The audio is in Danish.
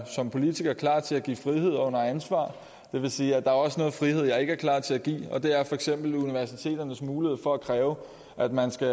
som politiker er klar til at give frihed under ansvar det vil sige at der også er noget frihed jeg ikke er klar til at give og det er for til universiteternes mulighed for at kræve at man skal